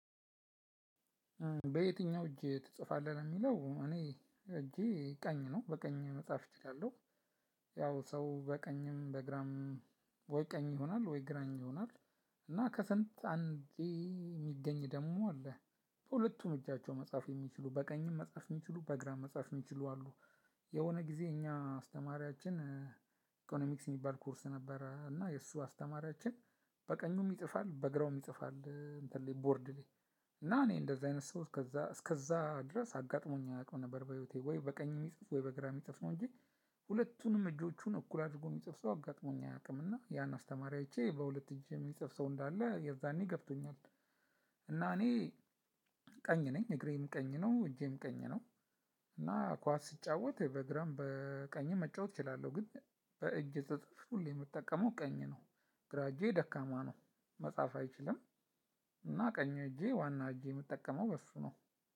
በየትኛው እጅ ትጽፋለህ ነው የሚለው እኔ እጄ ቀኝ ነው በቀኝ መጽሐፍ እችላለሁ። ያው ሰው በቀኝም በግራም ወይ ቀኝ ይሆናል ወይ ግራኝ ይሆናል። እና ከሰንት አንዴ የሚገኝ ደግሞ አለ። ሁለቱም እጃቸው መጽሐፍ የሚችሉ በቀኝም መጽሐፍ የሚችሉ በግራም መጽሐፍ የሚችሉ አሉ። የሆነ ጊዜ እኛ አስተማሪያችን ኢኮኖሚክስ የሚባል ኮርስ ነበረ እና የእሱ አስተማሪያችን በቀኙም ይጽፋል በግራውም ይጽፋል እንትን ላይ ቦርድ ላይ። እና እኔ እንደዚህ አይነት ሰው እስከዛ እስከዛ ድረስ አጋጥሞኝ አያውቀው ነበር በህይወቴ ወይ በቀኝ የሚጽፍ ወይ በግራ የሚጽፍ ነው እንጂ። ሁለቱንም እጆቹን እኩል አድርጎ የሚጽፍ ሰው አጋጥሞኝ አያውቅምና ያን አስተማሪ አይቼ በሁለት እጅ የሚጽፍ ሰው እንዳለ የዛኔ ገብቶኛል። እና እኔ ቀኝ ነኝ እግሬም ቀኝ ነው እጄም ቀኝ ነው። እና ኳስ ስጫወት በግራም በቀኝም መጫወት እችላለሁ ግን በእጅ ስጽፍ ሁሌ የምጠቀመው ቀኝ ነው። ግራ እጄ ደካማ ነው መጻፍ አይችልም። እና ቀኝ እጄ ዋና እጄ የምጠቀመው በእሱ ነው።